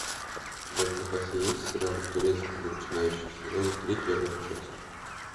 у тебя в запасе есть сериал турецкий для начинающих сезон три первая часть